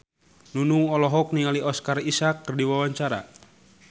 Nunung olohok ningali Oscar Isaac keur diwawancara